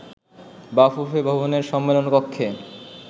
বাফুফে ভবনের সম্মেলন কক্ষে